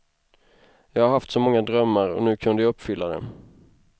Jag har haft så många drömmar, och nu kunde jag uppfylla dem.